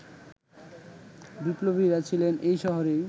বিপ্লবীরা ছিলেন এই শহরে